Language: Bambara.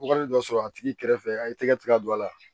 Wagati dɔ sɔrɔ a tigi kɛrɛfɛ a y'i tɛgɛ tigɛ ka don a la